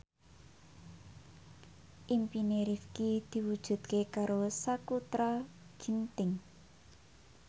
impine Rifqi diwujudke karo Sakutra Ginting